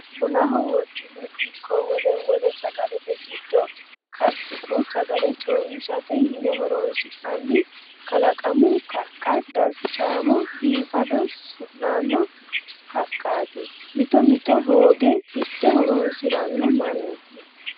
Bunaho wodhine ikko wole wole sagalate giddo karsine sagale coomishshate yine horonsi'nanni kalaqamu kaqqa darchamo biifado sunano haqati mitto mitto hooge hidhe horonsirano mannu.